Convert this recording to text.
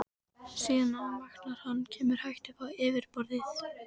Síðan vaknar hann, kemur hægt upp á yfirborðið.